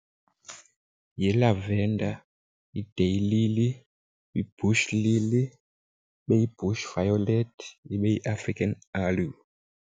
Yi-lavender, yi-day lily, yi-bush lily, ibe yi-bush violet, ibe yiAfrican aloe.